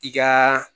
I ka